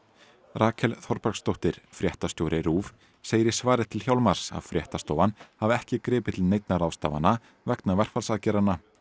Rakel Þorbergsdóttir fréttastjóri RÚV segir í svari til Hjálmars að fréttastofan hafi ekki gripið til neinna ráðstafana vegna verkfallsaðgerðanna